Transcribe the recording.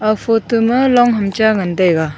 ag photo ma longham cha ngan taiga.